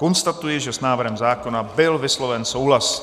Konstatuji, že s návrhem zákona byl vysloven souhlas.